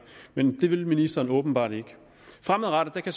men det vil ministeren åbenbart ikke fremadrettet kan